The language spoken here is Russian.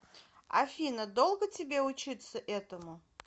афина долго тебе учиться этому